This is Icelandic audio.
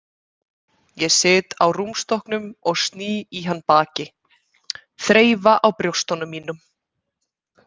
Ég sit á rúmstokknum og sný í hann baki, þreifa á brjóstunum mínum.